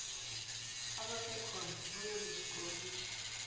abasekhona bayoku skorishwa